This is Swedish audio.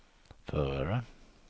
förare